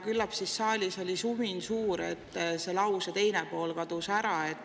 Küllap siis saalis oli sumin suur, nii et see lause teine pool kadus ära.